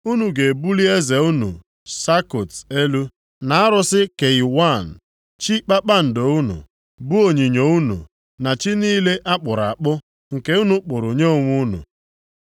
Unu ga-ebuli eze unu Sakut elu, na arụsị Kayiwan, chi kpakpando unu, bụ onyinyo unu, na chi niile a kpụrụ akpụ, nke unu kpụrụ nye onwe unu.